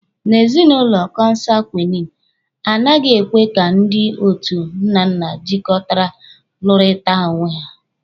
Na ezinụlọ kọnsangwini, a naghị ekwe ka ndị otu nnanna jịkọtara lụrịta onwe ha.